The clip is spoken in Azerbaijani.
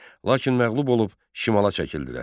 Lakin məğlub olub şimala çəkildilər.